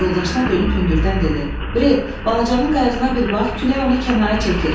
Yoldaşına dönüb hündürdən dedi: Bret, balacanın qayığına bir bax, külək onu kənara çəkir.